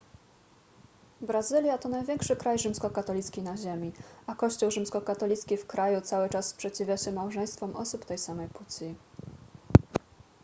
brazylia to największy kraj rzymskokatolicki na ziemi a kościół rzymskokatolicki w kraju cały czas sprzeciwia się małżeństwom osób tej samej płci